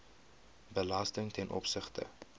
belasting ten opsigte